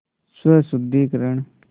स्वशुद्धिकरण